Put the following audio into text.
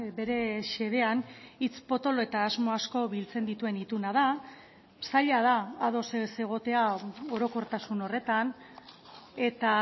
bere xedean hitz potolo eta asmo asko biltzen dituen ituna da zaila da ados ez egotea orokortasun horretan eta